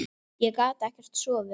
Ég gat ekkert sofið.